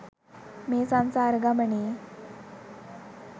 මේ සංසාර ගමනේ්